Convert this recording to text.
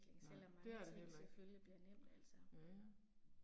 Nej, det er det heller ikke. Ja ja